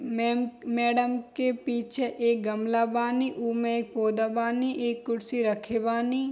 Ma'am madam के पीछे एक गमला बानी उमे एक पौधा बानी एक कुर्सी रखे बानी।